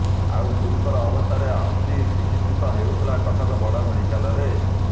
ଆଉ ଗୁରୁତର ଅବସ୍ଥାରେ ଆସି ଚିକିତ୍ସିତ ହେଉଥିଲା କଟକ ବଡ ମେଡିକାଲରେ